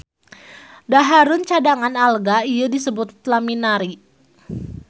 Dahareun cadangan alga ieu disebut laminarin.